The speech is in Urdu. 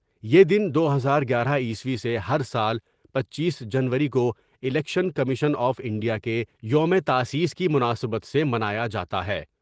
یہ دن دو ہزار گیارہ عیسوی سے ہر سال پنچیس جنوری کو الیکشن کمیشن آف انڈیا کے یوم تاسیس کی مناسبت سے منایا جا تا ہے ۔